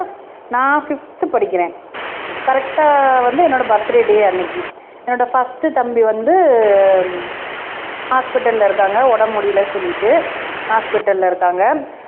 நான் ஃபிஃப்த் படிக்கிறேன் கரெக்ட்டா வந்து என்னோட பர்த்டே டே அன்னைக்கு என்னோட ஃபர்ஸ்ட் தம்பி வந்து ஹாஸ்பிடல்ல இருக்காங்க உடம்பு முடியலைன்னு சொல்லிட்டு ஹாஸ்பிடல்ல இருக்காங்க